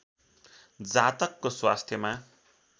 जातकको स्वास्थ्यमा